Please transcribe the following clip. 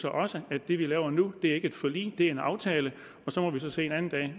også at det vi laver nu ikke er et forlig det er en aftale og så må vi se